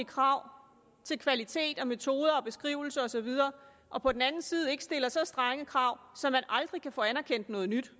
krav til kvalitet og metoder og beskrivelse og så videre og på den anden side ikke stiller så strenge krav så man aldrig kan få anerkendt noget nyt